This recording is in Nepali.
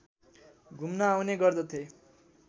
घुम्न आउने गर्दथे